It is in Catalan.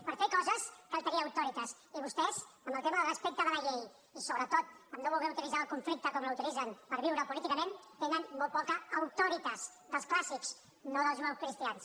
per fer coses cal tenir auctoritas i vostès amb el tema del respecte a la llei i sobretot en no voler utilitzar el conflicte com l’utilitzen per viure políticament tenen molt poca auctoritas dels clàssics no dels judeocristians